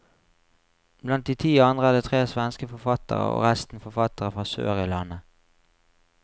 Blant de ti andre er det tre svenske forfattere og resten forfattere fra sør i landet.